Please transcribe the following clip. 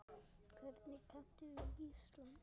Hvernig kanntu við Ísland?